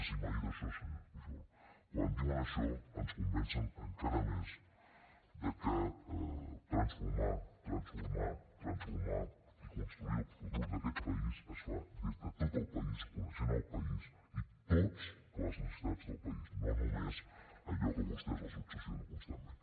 sí m’ha dit això senyor pujol quan diuen això ens convencen encara més de que transformar transformar transformar i construir el futur d’aquest país es fa des de tot el país coneixent el país i totes les necessitats del país no només allò que a vostès els obsessiona constantment